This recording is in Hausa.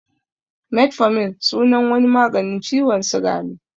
Metformin sunan wani maganin ciwon suga ne